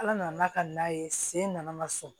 Ala nana ka na ye sen nana sɔn